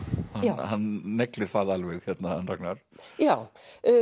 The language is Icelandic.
hann neglir það alveg hann Ragnar já